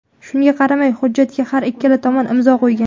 Shunga qaramay, hujjatga har ikkala tomon imzo qo‘ygan.